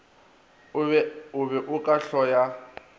o be o ka hloya